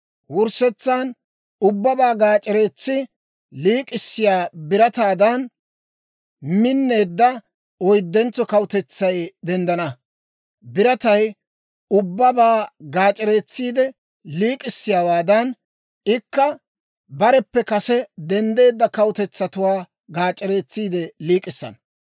Wurssetsan ubbabaa gaac'ereetsi liik'issiyaa birataadan minneedda oyddentso kawutetsay denddana. Biratay ubbabaa gaac'ereetsiide liik'issiyaawaadan, ikka bareppe kase denddeedda kawutetsatuwaa gaac'ereetsiide liik'issana.